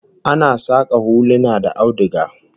Ana saka huluna da auduga